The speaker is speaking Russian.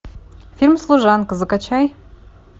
фильм служанка закачай